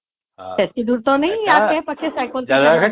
ସେତକୀ ଦୂର ତ ନାଇଁ ଏଇ ଆଖେ ପାଖେ ସାଇକେଲ